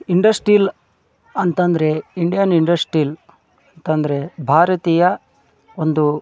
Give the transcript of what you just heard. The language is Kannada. ಇಂಡಸ್ ಸ್ಟೀಲ್ ಅಂತಂದ್ರೆ ಇಂಡಿಯನ್ ಇಂಡಸ್ ಸ್ಟೀಲ್ ಅಂತಂದ್ರೆ ಭಾರತೀಯ ಒಂದು--